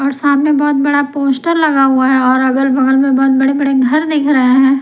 और सामने बहुत बड़ा पोस्टर लगा हुआ है और अगल-बगल में बहुत बड़े-बड़े घर दिख रहे हैं।